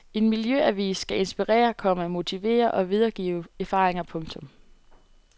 En miljøavis skal inspirere, komma motivere og videregive erfaringer. punktum